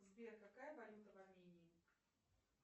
сбер какая валюта в армении